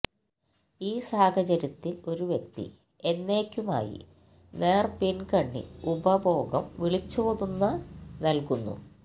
ഈ സാഹചര്യത്തിൽ ഒരു വ്യക്തി എന്നേക്കുമായി നേർപിൻകണ്ണി ഉപഭോഗം വിളിച്ചോതുന്ന നൽകുന്നു